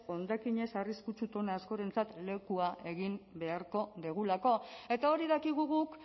hondakin ez arriskutsu tona askorentzat lekua egin beharko dugulako eta hori dakigu guk